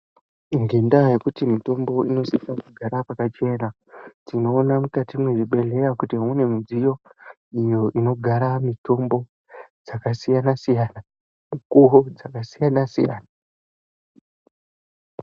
Ngendaa yekuti mitombo inosise kugara pakachena, tinoona mukati mezvibhedhlera kuti mune midziyo iyo inogara mitombo dzakasiyana-siyana, mikuwo dzakasiyana-siyana.